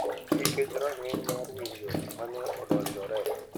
Nikech rang’iny mar winjo ma ne odonjore.